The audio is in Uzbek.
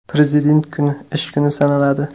Prezident kuni ish kuni sanaladi.